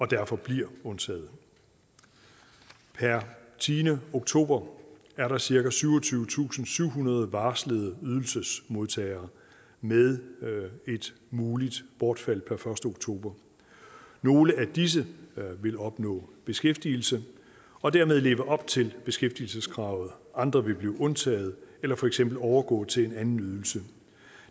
derfor bliver undtaget per tiende oktober er der cirka syvogtyvetusinde og syvhundrede varslede ydelsesmodtagere med et muligt bortfald per første oktober nogle af disse vil opnå beskæftigelse og dermed leve op til beskæftigelseskravet andre vil blive undtaget eller for eksempel overgå til en anden ydelse